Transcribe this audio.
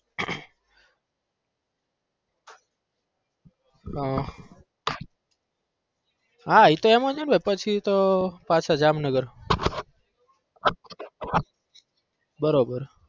હા હા ઈ તો એમજ હોય ને પછી તો પાછા જામનગર બરાબર